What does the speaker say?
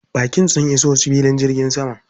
Baƙin sun iso filin jirgin sama.